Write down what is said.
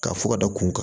Ka fɔ ka da kun kan